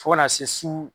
Fo ka na se su